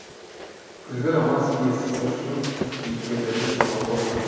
күзгі романс пьсасының кейіпкерлері санаулы ғана